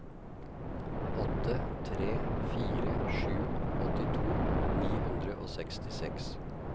åtte tre fire sju åttito ni hundre og sekstiseks